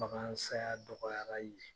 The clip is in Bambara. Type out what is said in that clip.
Bagan saya dɔgɔyara yen